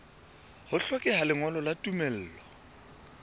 ho hlokeha lengolo la tumello